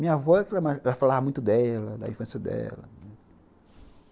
Minha avó, ela falava muito dela, da infância dela, né.